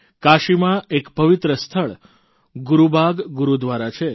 કાશીમાં એક પવિત્ર સ્થળ ગુરૂબાગ ગુરૂદ્વારા છે